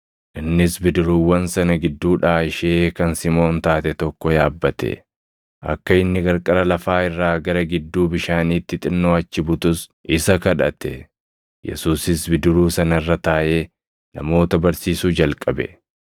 Innis bidiruuwwan sana gidduudhaa ishee kan Simoon taate tokko yaabbate; akka inni qarqara lafaa irraa gara gidduu bishaaniitti xinnoo achi butus isa kadhate. Yesuusis bidiruu sana irra taaʼee namoota barsiisuu jalqabe.